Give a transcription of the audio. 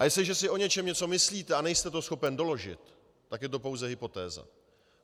A jestliže si o něčem něco myslíte a nejste to schopen doložit, tak je to pouze hypotéza.